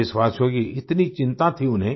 देशवासियों की इतनी चिंता थी उन्हें